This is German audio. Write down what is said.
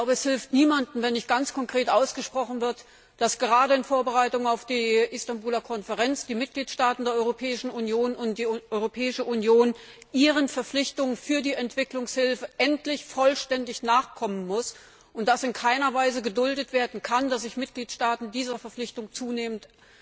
Ich glaube, es hilft niemandem, wenn nicht ganz konkret ausgesprochen wird, dass gerade in Vorbereitung auf die Istanbuler Konferenz die Mitgliedstaaten der Europäischen Union und die Europäische Union ihren Verpflichtungen für die Entwicklungshilfe endlich vollständig nachkommen müssen, und dass in keiner Weise geduldet werden kann, dass sich Mitgliedstaaten dieser Verpflichtung zunehmend